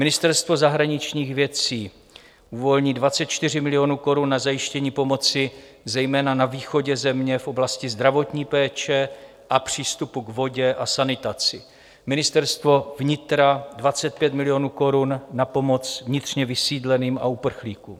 Ministerstvo zahraničních věcí uvolní 24 milionů korun na zajištění pomoci zejména na východě země v oblasti zdravotní péče a přístupu k vodě a sanitaci, Ministerstvo vnitra 25 milionů korun na pomoc vnitřně vysídleným a uprchlíkům.